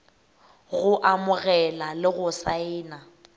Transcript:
go amogela le go saena